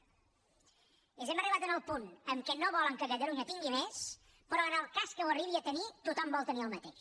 és a dir hem arribat al punt en què no volen que catalunya tingui més però en el cas que ho arribi a tenir tothom vol tenir el mateix